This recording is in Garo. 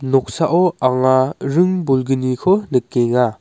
noksao anga ring bolgniko nikenga.